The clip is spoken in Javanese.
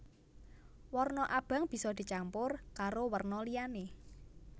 Warna abang bisa dicampur karo werna liyané